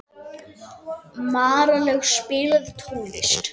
Marlaug, spilaðu tónlist.